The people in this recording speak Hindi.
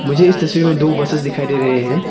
मुझे इस तस्वीर में दो बसेस दिखाई दे रहे हैं।